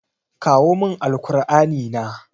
Kawo min Alkur'ani na.